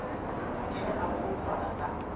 ke ge a foufala ka